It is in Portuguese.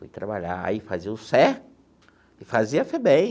Fui trabalhar, aí fazia o CER e fazia a FEBEM.